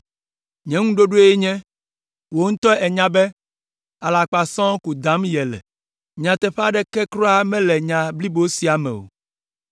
Nye ŋuɖoɖoe nye, “Wò ŋutɔ ènya be alakpa sɔŋ ko dam yele, nyateƒe aɖeke kura mele nya blibo sia me o.”